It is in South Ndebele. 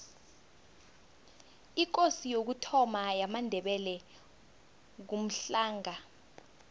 ikosi yokuthoma yamandebele ngumhlanga